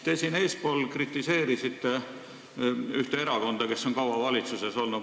Te eespool kritiseerisite ühte erakonda, kes on kaua valitsuses olnud.